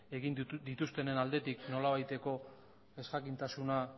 egin dituztenen aldetik nolabaiteko ezjakintasuna